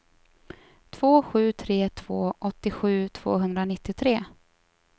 två sju tre två åttiosju tvåhundranittiotre